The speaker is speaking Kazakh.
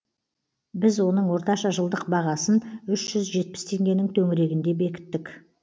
біз оның орташа жылдық бағасын үш жүз жетпіс теңгенің төңірегінде бекіттік